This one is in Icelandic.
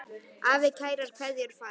Afi kærar kveðjur fær.